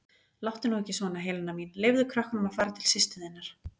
Láttu nú ekki svona, Helena mín, leyfðu krökkunum að fara til systur þinnar.